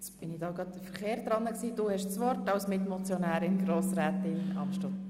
Grossrätin Amstutz hat als Mitmotionärin das Wort.